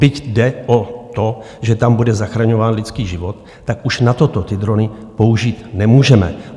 Byť jde o to, že tam bude zachraňován lidský život, tak už na toto ty drony použít nemůžeme.